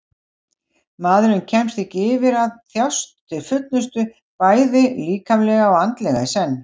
Maðurinn kemst ekki yfir að þjást til fullnustu bæði líkamlega og andlega í senn.